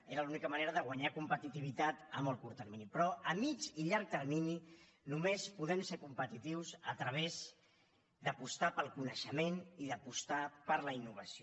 era l’única manera de guanyar competitivitat a molt curt termini però a mitjà i llarg termini només podem ser competitius a través d’apostar pel coneixement i d’apostar per la innovació